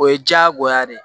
O ye diyagoya de ye